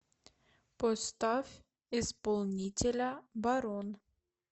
поставь исполнителя барон